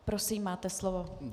Prosím, máte slovo.